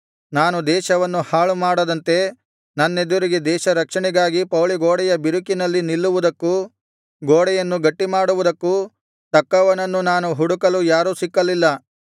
ನಾನು ದೇಶವನ್ನು ಹಾಳು ಮಾಡದಂತೆ ನನ್ನೆದುರಿಗೆ ದೇಶ ರಕ್ಷಣೆಗಾಗಿ ಪೌಳಿ ಗೋಡೆಯ ಬಿರುಕಿನಲ್ಲಿ ನಿಲ್ಲುವುದಕ್ಕೂ ಗೋಡೆಯನ್ನು ಗಟ್ಟಿಮಾಡುವುದಕ್ಕೂ ತಕ್ಕವನನ್ನು ನಾನು ಹುಡುಕಲು ಯಾರೂ ಸಿಕ್ಕಲಿಲ್ಲ